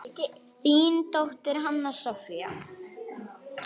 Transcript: Þín dóttir, Hanna Soffía.